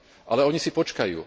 Ale oni si počkajú.